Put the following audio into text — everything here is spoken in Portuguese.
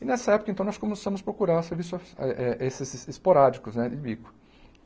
E nessa época, então, nós começamos a procurar serviços eh eh esses esporádicos, né, de bico.